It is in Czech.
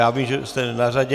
Já vím, že jste na řadě.